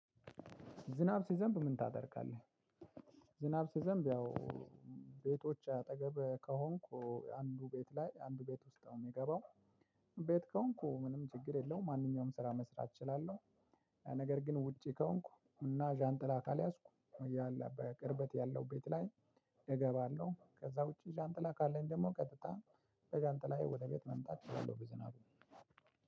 ዝናብ ሲዘንብ ምን ታደርጋለህ? ዝናብ ሲዘንብ ያው ቤቶች አጠገብ ከሆንኩ አንዱ ቤት ላይ አንዱ ቤት ውስጥ ነው ሚገባው። ቤት ከሆንኩ ምንም ችግር የለውም ማንኛውም ስራ መስራት እችላለሁ። ነገር ግን ውጪ ከሆንኩ እና ዣንጥላ ካልያዝኩ ያለ በቅርበት ያለው ቤት ላይ እገባለሁ ከዛ ውጪ ዣንጥላ ካለኝ ደግሞ ቀጥታ ዣንጥላዬ ወደ ቤት መምጣት እችላለሁ። በዝናብ